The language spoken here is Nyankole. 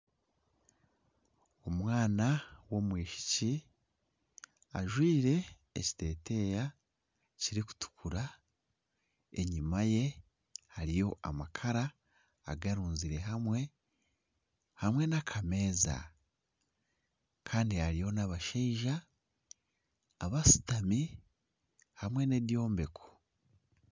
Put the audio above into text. Omwana w'omwishiki ajwire ekiteteya kirukutukura enyuma ye hariyo amakara agarunzire hamwe, hamwe n'akameza kandi hariyo n'abashaija abashutami hamwe n'ebyombeko.